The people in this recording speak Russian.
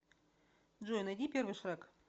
джой найди первый шрек